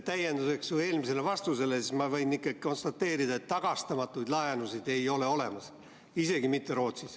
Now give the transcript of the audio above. Täienduseks su eelmisele vastusele, ma võin ikkagi konstateerida, et tagastamatuid laenusid ei ole olemas, isegi mitte Rootsis.